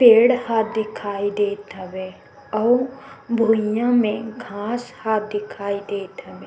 पेड़ ह दिखाई देत हवय आऊ भूइया मे घास ह दिखाई देत हवे--